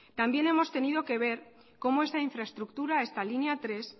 también hemos tenido que ver como esta infraestructura esta línea tres